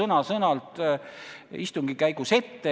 Ja ka siitsamast kõnepuldist rõhutati, et te saate kindlasti vähemalt 6%.